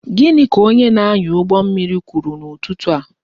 Gịnị ka onye na-anya ụgbọ mmiri kwuru n'ụtụtụ taa?